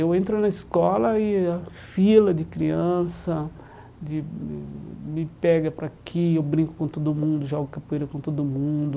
Eu entro na escola e a fila de criança de me pega para aqui, eu brinco com todo mundo, jogo capoeira com todo mundo.